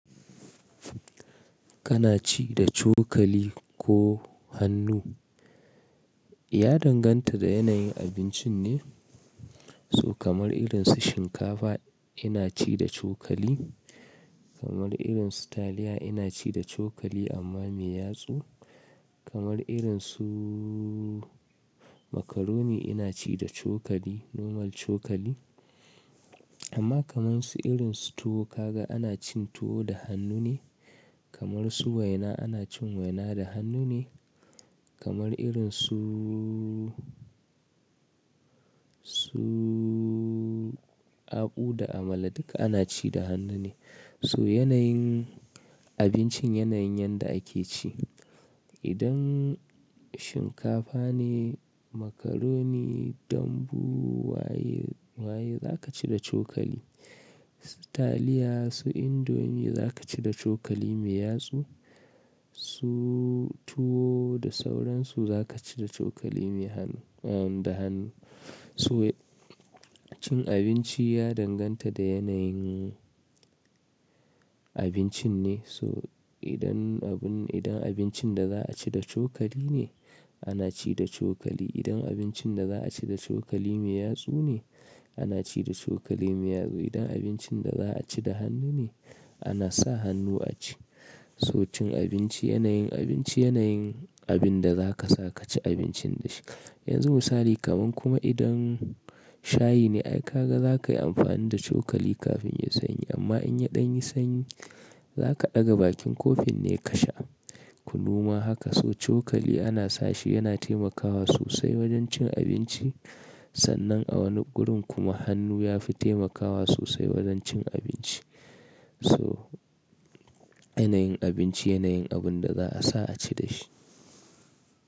Kana ci da cokali ko hannu, ya danganta da yanayin abincin ne. So kamar irin su shinkafa ina ci da cokali, kamar irin su taliya ina ci da cokali amma mai yatsu, kamar irin suuu macaroni ina ci da cokali normal cokali. Amma kamar su irin su tuwo ka ga ana cin tuwo da hannu ne, kamar su waina ana cin waina da hannu ne, kamar irin suuu, suuu, aku da amala duka ana ci da hannu ne. So yanayin abincin yanayin yanda ake ci. Idan shinkafa ne, macaroni, dambu, waye, waye za ka ci da cokali. Su taliya, su indomi za ka ci da cokali mai yatsu. Su tuwo da sauran su za ka ci da cokali mai hannu, da hannu. So cin abinci ya danganta da yanayin abincin ne. So idan abun, idan abincin da za a ci da cokali ne, ana ci da cokali. Idan abincin da za a ci da cokali mai yatsu ne, ana ci da cokali mai yatsu. Idan abincin da za a ci da hannu ne, ana sa hannu a ci. So cin abinci yanayin abinci, yanayin abin da za ka sa ka ci abincin da shi. Yanzu misali kamar kuma idan shayi ne, ai ka ga za ka yi amfani da cokali kafin ya sanyi. Amma in ya ɗan yi sanyi, za ka ɗaga bakin kofin ne ka sha. Ku noma haka. So cokali ana sa shi yana taimakawa sosai wajen cin abinci. Sannan a wani gurin kuma hannu ya fi taimakawa sosai wajen cin abinci. So yanayin abinci, yanayin abin da za a sa a ci da shi.